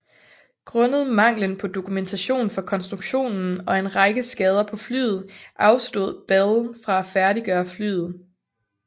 Grundet manglen på dokumentation for konstruktionen og en række skader på flyet afstod Bell fra at færdiggøre flyet